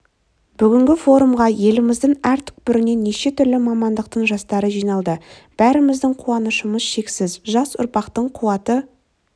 бүгінгі форумға еліміздің әр түкпірінен неше түрлі мамандықтың жастары жиналды бәріміздің қуанышымыз шексіз жас ұрпақтың қуаты